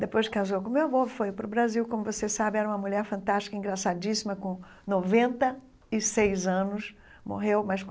Depois casou com meu avô, foi para o Brasil, como você sabe, era uma mulher fantástica, engraçadíssima, com noventa e seis anos morreu, mas